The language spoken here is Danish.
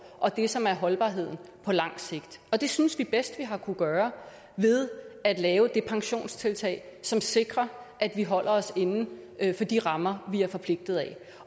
og det som er holdbart på lang sigt og det synes vi bedst at vi har kunnet gøre ved at lave det pensionstiltag som sikrer at vi holder os inden for de rammer vi er forpligtet af